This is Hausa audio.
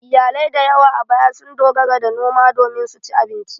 Iyalai da yawa a baya sun dogara ga noma domin su ci abinci.